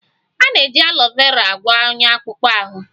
A na-eji alọ vera agwọ onya akpụkpọ ahụ